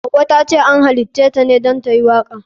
Hauwa tace an halitaceta ne don tayi waka.